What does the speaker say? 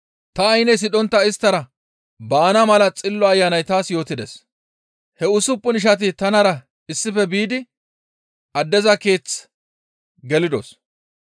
Ta aynne sidhontta isttara baana mala Xillo Ayanay taas yootides. He usuppun ishati tanara issife biidi addeza keeththe gelidos.